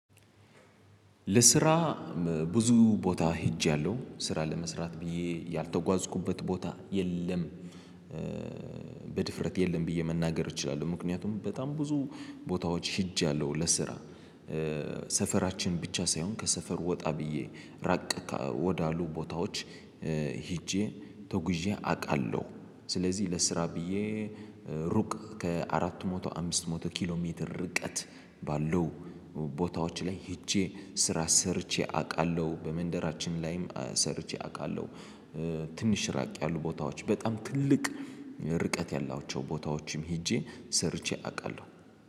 ለስራ ብዙ ቦታ ሄጃለሁ ስራ ለመስራት ብዬ ያልተጓዝኩበት ቦታ የለም። በድፍረት የለም ብዬ መናገር እችላለሁ ምክንያቱም በጣም ብዙ ቦታዎች ሄጃለሁ ለስራ። ሰፈራችን ብቻ ሳይሆን ከሰፈር ወጣ ብዬ ራቅ ወዳሉ ቦታዎች ሄጄ ተጉዤ አውቃለሁ። ስለዚህ ለስራ ብዬ ሩቅ ከአራቱ መቶ አምስት መቶ ኪሎ ሜትር ርቀት ባለው ቦታዎች ላይ ሄጄ ስራ ሰርቼ አውቃለሁ። በመንደራችን ላይም ሰርቼ አውቃለሁ። ትንሽ ራቅ ያሉ ቦታዎች በጣም ትልቅ ርቀት ያላቸው ቦታዎችም ሄጄ ሰርቼ አውቃለሁ።